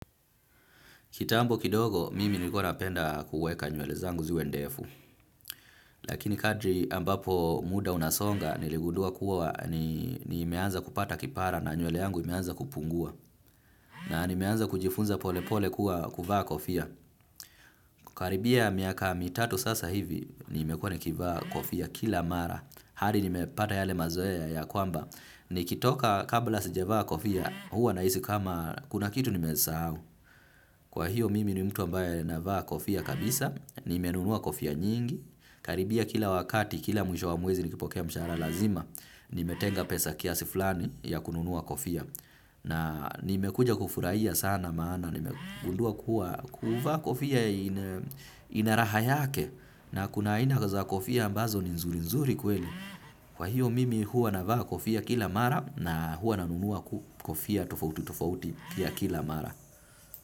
Kitambo kidogo, mimi nilikuwa napenda kuweka nywele zangu ziwe ndefu. Lakini kadri ambapo muda unasonga, niligundua kuwa nimeanza kupata kipara na nywele yangu imeanza kupungua. Na nimeanza kujifunza polepole kuwa kuvaa kofia. Karibia miaka mitatu sasa hivi, nimekuwa nikivaa kofia kila mara. Hadi nimepata yale mazoea ya kwamba, nikitoka kabla sijavaa kofia, huwa nahisi kama kuna kitu nimesahau. Kwa hiyo mimi ni mtu ambaye navaa kofia kabisa, nimenunua kofia nyingi, karibia kila wakati kila mwisho wa mwezi nikipokea mshara lazima, nimetenga pesa kiasi fulani ya kununua kofia. Na nimekuja kufurahia sana maana, nimegundua kuwa kuvaa kofia ina raha yake na kuna aina za kofia ambazo ni nzurinzuri kweli. Kwa hiyo mimi hua navaa kofia kila mara na hua nanunua kofia tofautitofauti pia kila mara.